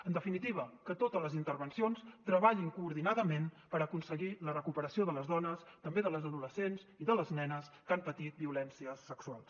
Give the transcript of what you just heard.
en definitiva que totes les intervencions treballin coordinament per aconseguir la recuperació de les dones també de les adolescents i de les nenes que han patit violències sexuals